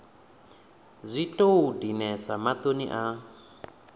zwi tou dinesa maṱoni a